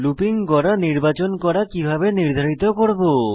looping গড়া নির্বাচন করা কিভাবে নির্ধারিত করব